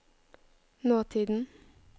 nåtiden